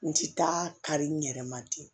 N ti taa kari n yɛrɛ ma ten